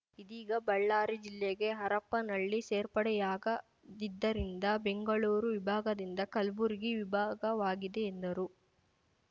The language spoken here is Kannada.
ಇದೀಗ ಬಳ್ಳಾರಿ ಜಿಲ್ಲೆಗೆ ಹರಪನಹಳ್ಳಿ ಸೇರ್ಪಡೆಯಾಗದಿದ್ದರಿಂದ ಬೆಂಗಳೂರು ವಿಭಾಗದಿಂದ ಕಲ್ಬುರ್ಗಿ ವಿಭಾಗವಾಗಿದೆ ಎಂದರು